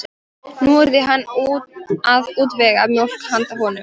Nú yrði hann að útvega mjólk handa honum.